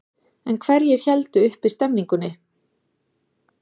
En hverjir héldu uppi stemmingunni?